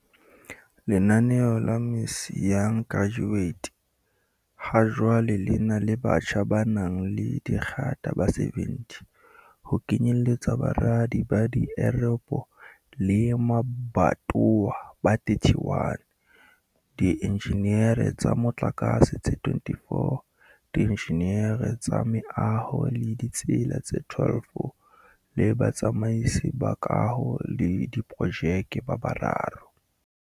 Lenaneo la MISA Young Graduate ha jwale lena le batjha ba nang le digrata ba 70, ho kenyelletsa baradi ba dit eropo le mabatowa ba 31, di enjineri tsa motlakatse tse 24, dienjineri tsa meaho le ditsela tse 12 le batsamaisi ba kaho le diprojeke ba bararo